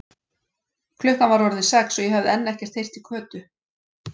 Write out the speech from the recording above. Klukkan var orðin sex og ég hafði enn ekkert heyrt í Kötu.